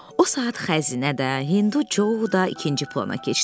O saat xəzinə də, Hindu Co da ikinci plana keçdi.